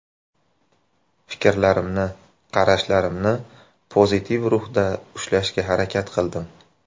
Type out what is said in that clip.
Fikrlarimni, qarashlarimni pozitiv ruhda ushlashga harakat qildim.